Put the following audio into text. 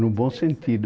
No bom sentido.